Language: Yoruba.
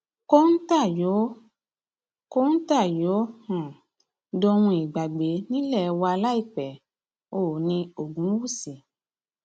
kọńtà yóò kọńtà yóò um dohun ìgbàgbé nílé wa láìpẹ oòní ogunwúsì